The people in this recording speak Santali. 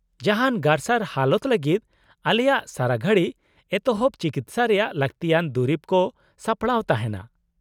-ᱡᱟᱦᱟᱸᱱ ᱜᱟᱨᱥᱟᱨ ᱦᱟᱞᱚᱛ ᱞᱟᱹᱜᱤᱫ ᱟᱞᱮᱭᱟᱜ ᱥᱟᱨᱟ ᱜᱷᱟᱲᱤᱡ ᱮᱛᱚᱦᱚᱵ ᱪᱤᱠᱤᱥᱥᱟ ᱨᱮᱭᱟᱜ ᱞᱟᱹᱠᱛᱤᱭᱟᱱ ᱫᱩᱨᱤᱵ ᱠᱚ ᱥᱟᱯᱲᱟᱣ ᱛᱟᱦᱮᱱᱟ ᱾